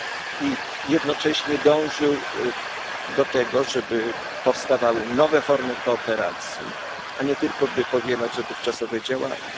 I jednocześnie dążył do tego, żeby powstawały nowe formy kooperacji, a nie tylko, by powielać dotychczasowe działania.